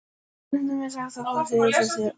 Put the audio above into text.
Stundum er sagt að forseti Íslands sé valdalaus.